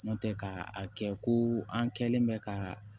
Ntɛ ka a kɛ ko an kɛlen bɛ ka